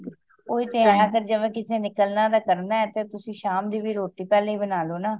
ਓਹੀ ਤੇ ਆਯਾ ਕਰ ਜਿਵੇਂ ਨਿਕਲਣਾ ਕਰਨਾ ਤੇ ਤੁਸੀ ਸ਼ਾਮ ਦੀ ਰੋਟੀ ਵੀ ਪਹਿਲੇ ਹੀ ਬਣਾ ਲੋ ਨਾ